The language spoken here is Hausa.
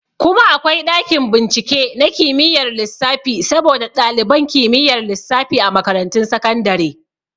Kuma akwai ɗakin bincike na kimiyar lissafi saboda ɗaliban kimiyyar lissafi a makarantun sakandare